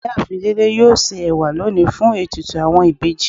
Iyaafin Dele yóò se ewa loni fun etùtù awọn ìbejì